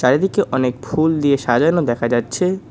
চারিদিকে অনেক ফুল দিয়ে সাজানো দেখা যাচ্ছে।